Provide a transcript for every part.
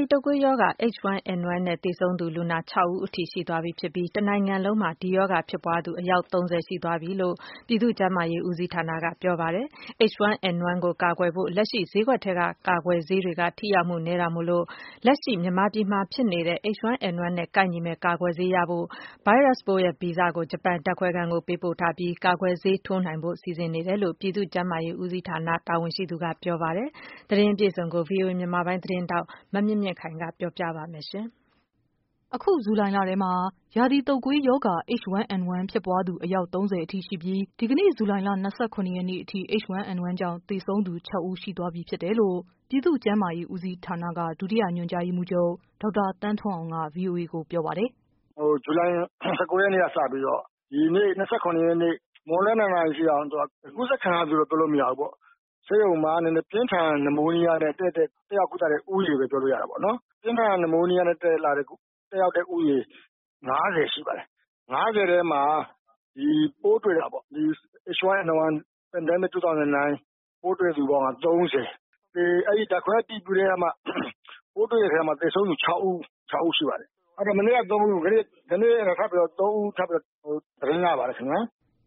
ီတုပ်ကွေးရောဂါ H1N1 နဲ့ သေဆုံးတဲ့ လူနာ ၆ဦးအထိရှိသွားပြီဖြစ်ပြီး တနိုင်ငံလုံးမှာ ဒီ ရောဂါ ဖြစ် ပွားသူ အယောက် ၃၀ရှိသွားပြီလို့ ပြည်သူ့ကျန်းမာရေး ဦးစီးဌာနက ပြောလိုက်ပါတယ်။ H1N1 ကို ကာ ကွယ်ဖို့အတွက် လက်ရှိ ဈေးကွက်ထဲက ကာကွယ်ဆေးတွေက ထိရောက်မှုနည်းတာမို့ လက်ရှိ မြန်မာ ပြည်မှာ ဖြစ်ပွားနေတဲ့ H1N1 နဲ့ ကိုက်ညီမယ့် ကာကွယ်ဆေးရဖို့ ဗိုင်းရပ်စ်ပိုးရဲ့ ဗီဇကို ဂျပန်ကို ပေးပို့ ထားပြီး ကာကွယ်ဆေးထိုးနိုင်ဖို့ စီစဉ်နေတယ်လို့ ပြည်သူ့ ကျန်းမာရေး ဦးစီးဌာန တာဝန်ရှိသူက ပြော ပါတယ်။ သတင်းအပြည့်အစုံကိုတော့ ဗွီအိုအေ မြန်မာပိုင်း သတင်းထောက် မမြင့်မြင့်ခိုင်က ပြောပြ ပေးပါမယ်။ အခု ဇူလိုင်လထဲမှာ ရာသီတုပ်ကွေးရောဂါ H1N1 ဖြစ်ပွားသူ အယောက် ၃၀အထိ ရှိပြီး ဒီကနေ့ ဇူလိုင် လ ၂၇ရက်နေ့အထိ H1N1 ကြောင့် သေဆုံးသူ ၆ဦး ရှိသွားပြီဖြစ်တယ်လို့ ပြည်သူ့ကျန်းမာရေးဦးစီးဌာန က ဒုညွှန်ကြားရေးမှူးချုပ် ဒေါက်တာ သန်းထွန်းအောင်က ဗွီအိုအေကို ပြောပါတယ်။ “ဇူလိုင် ၁၉ ရက်နေ့ကနေစပြီးတော့ ဒီနေ့ ၂၇ ရက်နေ့ မွန်းလွဲ ၂ နာရီအထိ ကူးစက်ခံရသူလို့တော့ ပြောလို့မရဘူးပေါ့နော် ၊ ဆေးရုံမှာ ပြင်းထန် နမိုးနီးယားနဲ့ တက်ရောက်ကုသတဲ့ ဦးရေလို့ပြောလို့ရတာပေါ့နော်။ ပြင်းထန် နမိုးနီးယားနဲ့ တက်ရောက်တဲ့ဦးရေ ၅၀ ရှိပါတယ်။ အဲဒီ ၅၀ ထဲမှာ ဒီပိုးတွေ့တာပေါ့နော် H1N1/ pdm09 ၂၀၀၉ ပိုးတွေ့သူပေါင်းကတော့ ၃၀ အဲဒီ ဓါတ်ခွဲအတည်ပြုပြီးမှ ပိုးတွေ့တဲ့အထဲမှာ သေဆုံးသူ ၆ ဦး ရှိပါတယ်။ မနေ့က ၃ ဦး ဒီကနေ့ထပ်ပြီးတော့ ၃ ဦး သေဆုံးတယ်လို့ သတင်းရပါတယ်။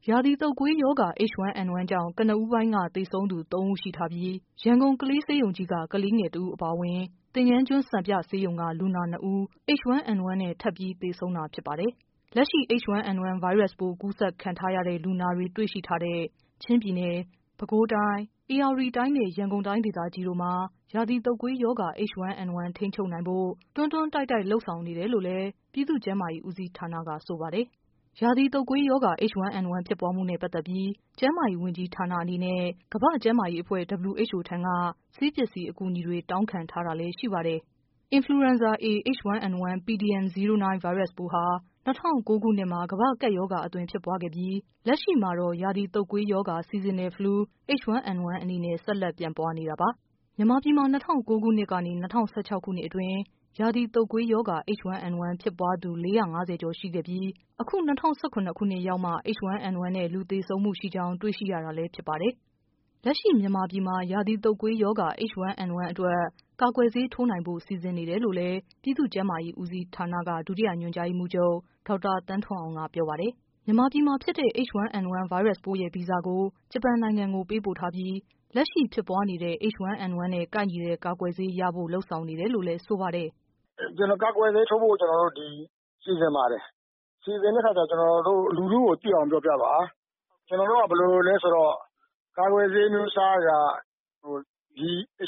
” ရာသီတုပ်ကွေးရောဂါ H1N1 ကြောင့် ကနဦးပိုင်းက သေဆုံးသူ ၃ဦးရှိထားပြီး ရန်ကုန် ကလေး ဆေးရုံ ကြီးက ကလေးငယ်တဦး၊ သင်္ကန်းကျွန်း စံပြ ဆေးရုံက လူနာ ၂ဦး H1N1နဲ့ ထပ်ပြီး သေဆုံးတာဖြစ်ပါ တယ်။ လက်ရှိမှာ H1N1 ဗိုင်းရပ်စ်ပိုး ကူးစက်ခံထားရတဲ့ လူနာတွေ တွေ့ရှိထားတဲ့ ချင်းပြည်နယ်၊ ပဲခူး တိုင်း၊ ဧရာဝတီ တိုင်းနဲ့ ရန်ကုန်တိုင်းဒေသကြီးတို့မှာ ရာသီတုပ်ကွေးရောဂါ H1N1 ထိန်းချုပ်နိုင်ဖို့ တွန်းတွန်း တိုက်တိုက် လုပ်ဆောင်နေတယ်လို့လည်း ပြည်သူ့ကျန်းမာရေး ဦးစီးဌာနက ဆိုပါတယ်။ရာသီတုပ်ကွေး ရောဂါ H1N1 ဖြစ်ပွားမှုနဲ့ ပတ်သက်ပြီး ကျန်းမာရေးဝန်ကြီးဌာနအနေနဲ့ ကမ္ဘာ့ကျန်းမာ ရေး အဖွဲ့ WHO ထံက ဆေးပစ္စည်း အကူညီတွေ တောင်းခံထားတယ်လည်း ရှိပါတယ်။ Influenza A(H1N1) pdm09 ဗိုင်းရပ်စ်ပိုးဟာ ၂၀၀၉ ခုနှစ်မှာ ကမ္ဘာ့ကပ်ရောဂါအသွင် ဖြစ်ပွားခဲ့ပြီး လက်ရှိမှာတော့ ရာသီတုပ်ကွေးရောဂါ Seasonal Flu H1N1 အနေနဲ့ ဆက်လက်ပြန့်ပွားနေတာပါ။ မြန် မာပြည်မှာ ၂၀၀၉ ခုနှစ်ကနေ ၂၀၁၆ အတွင်း ရာသီတုပ်ကွေးရောဂါ H1N1 ဖြစ်ပွားသူ ၄၅၀ကျော် ရှိခဲ့ ပြီး အခု ၂၀၁၇ နှစ်မှာမှ H1N1 နဲ့ လူသေဆုံးမှုရှိကြောင်း တွေ့ရှိရတာလည်း ဖြစ်ပါတယ်။ လက်ရှိ မြန်မာပြည်မှာ ရာသီတုပ်ကွေးရောဂါ H1N1 အတွက် ကာကွယ်ဆေးထိုးနိုင်ဖို့ စီစဉ်နေတယ်လို့ ပြည်သူ့ကျန်းမာရေး ဦးစီးဌာနက ဒု ညွှန်ကြားရေးမှူးချုပ် ဒေါက်တာ သန်းထွန်းအောင်က ပြောပါတယ်။ မြန်မာပြည်မှာဖြစ်တဲ့ H1N1 ဗိုင်းရပ်စ်ပိုးရဲ့ ဗီဇကို ဂျပန်နိုင်ငံကို ပေးပို့ထားပြီး လက်ရှိဖြစ်ပွားနေတဲ့H1N1 နဲ့ ကိုက်ညီတဲ့ ကာကွယ်ဆေးရဖို့ လုပ်ဆောင်နေတယ်လို့ လည်း ဆိုပါတယ်။ “ကာကွယ်ဆေးထုတ်ဖို့အတွက် ကျနော်တို့ စီစဉ်နေပါတယ်။ စီစဉ်တဲ့အခါမှာ ကျနော်တို့ လူထုကို သိအောင်ပြောပြပါ။ ကျနော်တို့က ဘယ်လိုလဲဆိုတော့ ကာကွယ်ဆေးအမျိုးအစားတွေက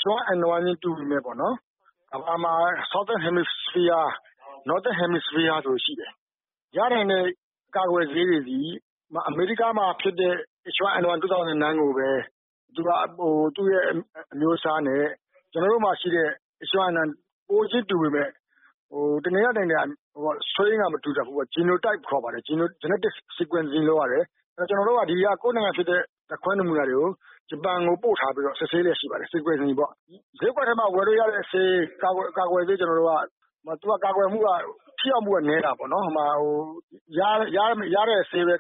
H1N1 တူပေမယ့်ပေါ့နော် southern နဲ့ Northern ဆိုပြီးရှိတယ်။ ရတဲ့ကာကွယ်ဆေးတွေသည် အမေရိကန်မှာဖြစ်တဲ့ H1N1 ၂၀၀၉ ကိုပဲ သူ့အမျိုးအစားနဲ့ ကျနော်တို့မှာရှိတဲ့ H1N1 ပိုးချင်းတူပေမယ့် တနေရာနဲ့ တနေရာမတူတတ်ဘူးပေါ့နော်။ Genotype လို့ခေါ်တယ်၊ Genotype မတူဘူးပေါ့နော် ။ ဆိုတော့ ကျနော်တု့ိက ကိုယ့်နိုင်ငံက ဓါတ်ခွဲနမူနာတွေကို ဂျပန်ကို ပို့ထားပြီး စစ်ဆေးလျက်ရှိပါတယ်။ ဈေးကွက်ထဲမှာ ဝယ်လို့ရတဲ့ဆေး ကာကွယ်ဆေးတွေကတော့ ထိရောက်မှုနည်းတာပေါ့နော်။ ရတဲ့ ကာကွယ်ဆေးပဲ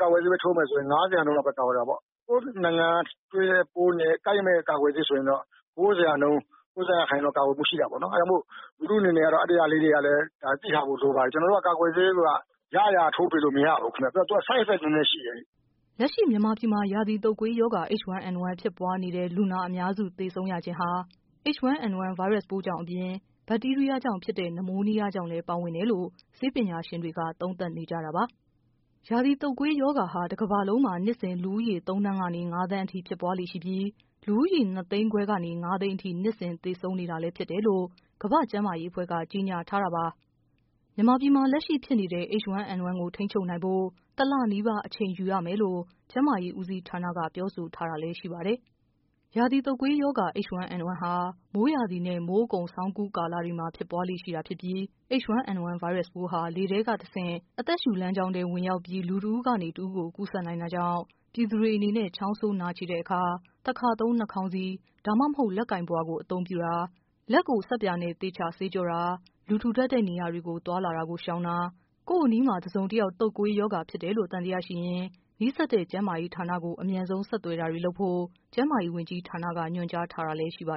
ထိုးမယ်ဆိုရင် ၅၀ ရာခိုင်နှုန်းပဲ ကာကွယ်တာပေါ့နော်။ ကိုယ့်နိုင်ငံတွေ့တဲ့ပိုးနဲ့ ကာကွယ်ဆေးဆိုရင်တော့ မထိရောက်ဘူး၊ လူထုအနေနဲ့လည်း ဒါလေးတွေကို သိထားဖို့လိုပါတယ် ၊ ကာကွယ်ဆေးဆိုတာက ရရာထိုးပေးလို့မရဘူးခင်ဗျ သူက side effects တွေလည်းရှိတယ်ခင်ဗျ။” လက်ရှိ မြန်မာပြည်မှာ ရာသီတုပ်ကွေးရောဂါ H1N1 ဖြစ်ပွားနေတဲ့ လူနာအများစု သေဆုံးရခြင်း ဟာ H1N1 ကြောင့်အပြင် ဘတ်တီးရီးယားကြောင့် ဖြစ်တဲ့ နမိုးနီးယားကြောင့်လဲ ပါဝင်တယ်လို့ ဆေးပညာ ရှင်တွေက သုံး သပ်နေကြတာပါ။ ရာသီတုပ်ကွေးရောဂါဟာ တကမ္ဘာလုံးမှာ နှစ်စဉ် လူဦးရေ ၃သန်းကနေ ၅သန်းအထိ ဖြစ်ပွားလေ့ရှိပြီး လူဦးရေ ၂သိန်းခွဲကနေ ၅သိန်းအထိ သေဆုံးနေတာလဲဖြစ်တယ်လို့ ကမ္ဘာ့ကျန်းမာရေးအဖွဲ့က ကြေညာ ထားတာပါ။ မြန်မာပြည်မှာ လက်ရှိဖြစ်နေတဲ့ H1N1 ကို ထိန်းချုပ်နိုင်ဖို့ ၁လနီးပါး အချိန်ယူရမယ်လို့ ကျန်းမာရေး ဦးစီးဌာနက ပြောဆိုထားတာလဲ ရှိပါတယ်။ ရာသီတုတ်ကွေးရောဂါ H1N1 ဟာ မိုးရာသီနဲ့ မိုးအကုန် ဆောင်းအကူး ကာလတွေမှာ ဖြစ်ပွားလေ့ရှိ တာဖြစ်ပြီး H1N1 ဗိုင်းရပ်ပိုးဟာ လေထဲတဆင့် အသက်ရှုလမ်းကြောင်းထဲ ဝင်ရောက်ပြီး လူတဦးကနေ တဦးကို ကူးစက်နိုင်တာကြောင့် ပြည်သူတွေအနေနဲ့ ချောင်းဆိုး နှာချေတဲ့အခါ တခါသုံး နှာခေါင်းစည်း ဒါမှမဟုတ် လက်ပိုင်ပုဝါ အသုံးပြုတာ၊ လက်ကို ဆပ်ပြာနဲ့ သေချာ ဆေးကြောတာ၊ လူထူထပ်တဲ့ နေရာ တွေကို သွားလာတာကို ရှောင်တာ၊ ကိုယ့်အနီးမှာ တစုံတယောက် တုပ်ကွေးရောဂါဖြစ်ပွားတယ်လို့ သံ သယရှိရင် နီးစပ်တဲ့ ကျန်းမာရေး ဌာနကို အမြန်ဆုံးဆက်သွယ်တာတွေ လုပ်ဖို့ ကျန်းမာရေး ဝန်ကြီး ဌာနက ညွှန်ကြားထားတာလဲ ရှိပါ